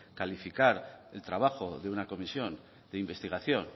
calificar el trabajo de una comisión de investigación